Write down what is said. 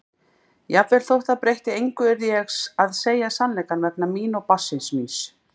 Jafnvel þótt það breytti engu yrði ég að segja sannleikann vegna mín og barnsins míns.